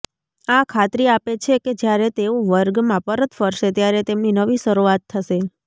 આ ખાતરી આપે છે કે જ્યારે તેઓ વર્ગમાં પરત ફરશે ત્યારે તેમની નવી શરૂઆત થશે